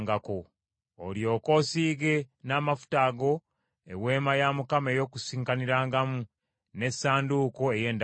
Olyoke osiige n’amafuta ago Eweema ey’Okukuŋŋaanirangamu, n’Essanduuko ey’Endagaano,